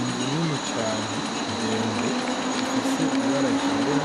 Inzu nini cane ndende ifise ibara ryera